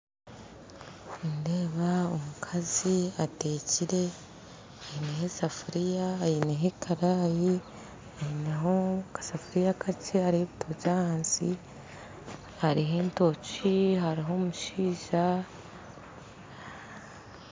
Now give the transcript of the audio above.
Nindeeba omukazi ateekire aineho esefuriya, aineho ekaraayi aineho akasefuriya akakye hariho ebitookye ahansi hariho entookye hariho omushaija